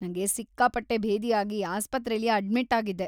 ನಂಗೆ ಸಿಕ್ಕಾಪಟ್ಟೆ ಭೇದಿ ಆಗಿ ಆಸ್ಪತ್ರೆಲಿ ಅಡ್ಮಿಟ್‌ ಆಗಿದ್ದೆ.